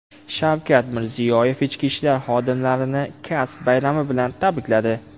Shavkat Mirziyoyev ichki ishlar xodimlarini kasb bayrami bilan tabrikladi.